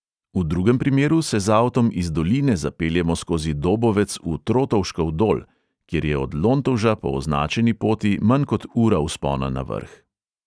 V drugem primeru se z avtom iz doline zapeljemo skozi dobovec v trotovškov dol, kjer je od lontovža po označeni poti manj kot ura vzpona na vrh.